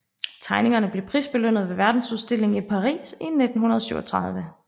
Tegningerne blev prisbelønnet ved verdensudstillingen i Paris 1937